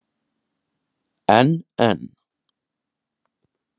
En en.